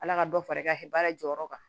Ala ka dɔ fara i ka baara jɔyɔrɔ kan